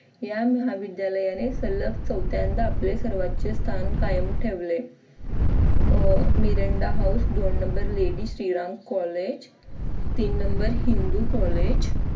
या महाविद्यालयाने सलग चौथ्यांदा आपले सर्वोच स्थान कायम ठेवले. अह मिरांडा house दोन numberlady श्रीराम कॉलेज तीन number हिंदू कॉलेज